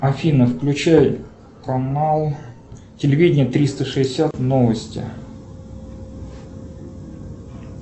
афина включай канал телевидение триста шестьдесят новости